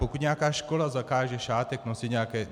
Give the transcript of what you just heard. Pokud nějaká škola zakáže šátek nosit nějaké...